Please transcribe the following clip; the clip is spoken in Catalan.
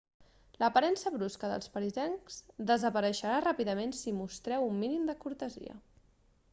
l'aparença brusca dels parisencs desapareixerà ràpidament si mostreu un mínim de cortesia